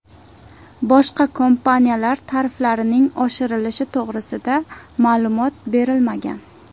Boshqa kompaniyalar tariflarining oshirilishi to‘g‘risida ma’lumot berilmagan.